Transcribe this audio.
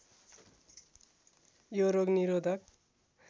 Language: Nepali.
यो रोग निरोधक